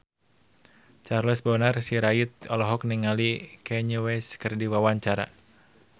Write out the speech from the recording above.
Charles Bonar Sirait olohok ningali Kanye West keur diwawancara